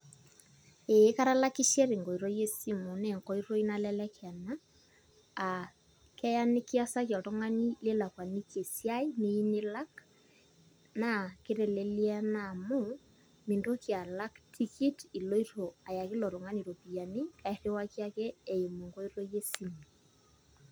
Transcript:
Ee katalakishe tenkoitoi esimu naa enkoitoi nalelek ena aa keya nikiasaki oltung'ani nikilakuaniki esiai niyieu nilak naa kitelelia naa amu mintoki alak tikit iloito ayaki ilo tung'ani iropiyiani airriwaki ake eimu enkoitoi esimu.